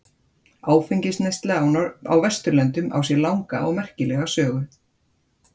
áfengisneysla á vesturlöndum á sér langa og merkilega sögu